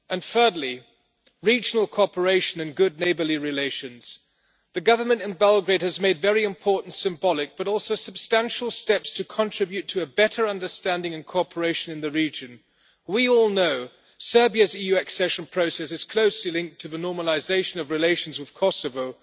Thirdly, regional cooperation and good neighbourly relations the government in Belgrade has made very important symbolic, but also substantial, steps to contribute to a better understanding and cooperation in the region. We all know that Serbia's EU accession process is closely linked to the normalisation of relations with Kosovo.